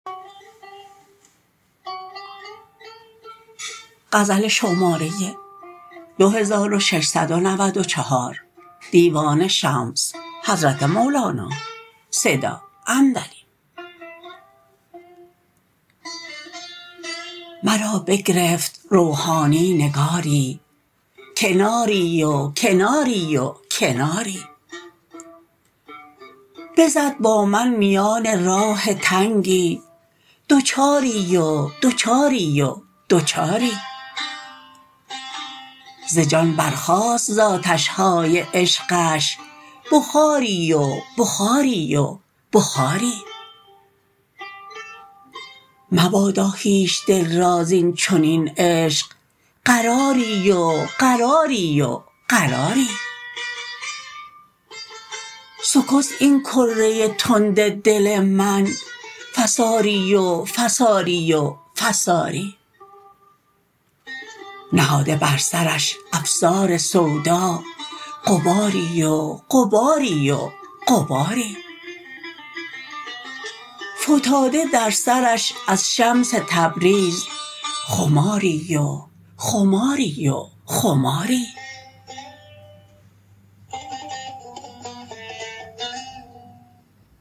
مرا بگرفت روحانی نگاری کناری و کناری و کناری بزد با من میان راه تنگی دوچاری و دوچاری و دوچاری ز جان برخاست ز آتش های عشقش بخاری و بخاری و بخاری مبادا هیچ دل را زین چنین عشق قراری و قراری و قراری سکست این کره تند دل من فساری و فساری و فساری نهاده بر سرش افسار سودا غباری و غباری و غباری فتاده در سرش از شمس تبریز خماری و خماری و خماری